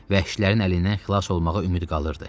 Vəhşilərin əlindən xilas olmağa ümid qalırdı.